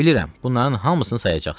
Bilirəm, bunların hamısını sayacaqsan.